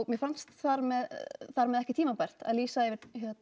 mér fannst þar með þar með ekki tímabært að lýsa yfir